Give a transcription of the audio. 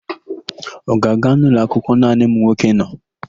Ọ ga-aga n'ụlọakwụkwọ naanị ụmụnwoke nọ?